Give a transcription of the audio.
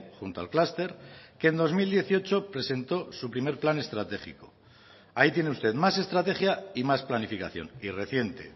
junto al clúster que en dos mil dieciocho presentó su primer plan estratégico ahí tiene usted más estrategia y más planificación y reciente